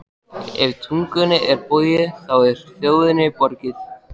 Ef tungunni er borgið, þá er þjóðinni borgið.